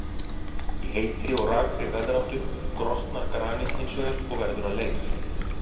Í heitri og rakri veðráttu grotnar granít hins vegar og verður að leir.